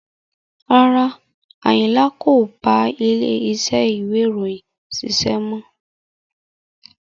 Rárá, Ayinla kò bá ilé iṣẹ́ ìwé ìròyìn ṣiṣẹ́ mọ́.